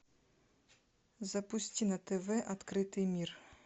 запусти на тв открытый мир